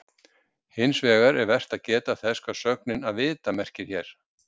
hins vegar er vert að geta þess hvað sögnin „að vita“ merkir hér